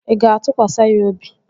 Ị ga-atụkwasị ya obi?